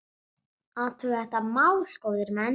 Athugið þetta mál, góðir menn!